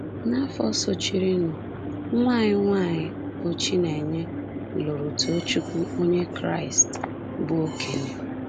N’afọ sochirinụ, nwa anyị nwanyị, bụ́ Chinenye, lụrụ Tochukwu, onye Kraịst bụ́ okenye.